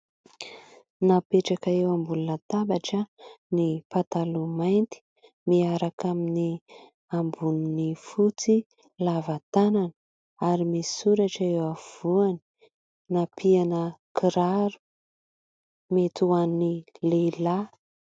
Napetraka eo ambony latabatra ny pataloha mainty miaraka amin'ny amboniny fotsy lavatanana ary misy soratra eo afovoany nampiana kiraro mety ho an'ny lehilahy.